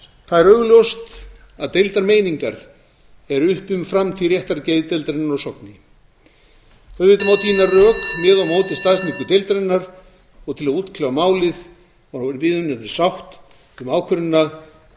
það er augljóst að deildar meiningar eru uppi um framtíð réttargeðdeildarinnar á sogni auðvitað má tína til rök með og á móti staðsetningu deildarinnar til að útkljá málið og ná viðunandi sátt um ákvörðunina